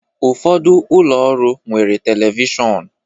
Ụfọdụ ụlọ ọrụ nwere telivishọn